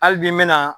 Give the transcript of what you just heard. Hali bi n bɛna